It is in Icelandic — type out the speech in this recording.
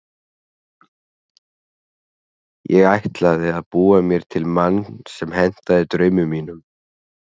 Ég ætlaði að búa mér til mann sem hentaði draumum mínum.